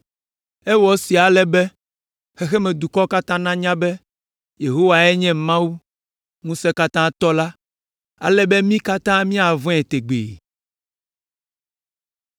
Ewɔ esia ale be, xexemedukɔwo katã nanya be Yehowae nye Mawu, Ŋusẽkatãtɔ la, ale be mí katã míavɔ̃e tegbee.”